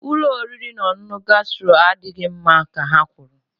Ụlọ oriri na ọṅụṅụ gastro adịghị mma ka ha kwuru